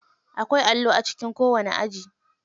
Akwai allo a cikin kowani aji.